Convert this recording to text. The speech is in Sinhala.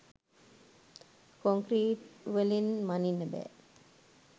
කොන්ක්‍රීට්වලින් මණින්න බෑ.